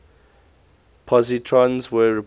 positrons were reported